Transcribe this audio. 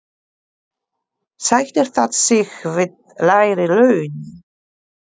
Sættir það sig við lægri laun?